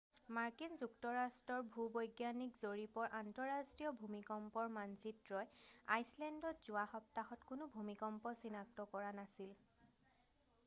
মাৰ্কিন যুক্তৰাষ্ট্ৰৰ ভূ-বৈজ্ঞানিক জৰীপৰ আন্তঃৰাষ্ট্ৰীয় ভূমিকম্পৰ মানচিত্ৰই আইচলেণ্ডত যোৱা সপ্তাহত কোনো ভূমিকম্প চিনাক্ত কৰা নাছিল